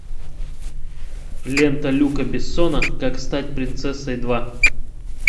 лента люка бессона как стать принцессой два